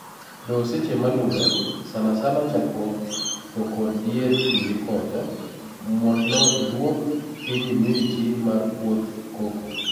Doo seche malure, sana sana chakruok to kod dier kinde koth, modno iduok piny humidity mar puoth cocoa.